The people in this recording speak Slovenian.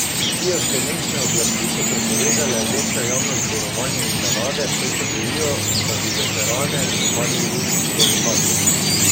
Kijevske mestne oblasti so prepovedale večja javna zborovanja in parade, saj se bojijo, da bi veterane napadli ruski provokatorji.